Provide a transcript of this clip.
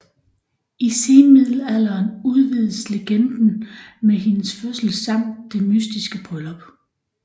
I senmiddelalderen udvides legenden med hendes fødsel samt det mystiske bryllup